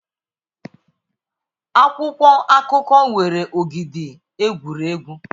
Akwụkwọ akụkọ nwere ogidi egwuregwu.